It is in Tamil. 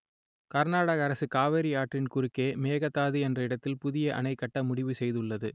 கர்நாடக அரசு காவிரி ஆற்றின் குறுக்கே மேகதாது என்ற இடத்தில் புதிய அணை கட்ட முடிவு செய்துள்ளது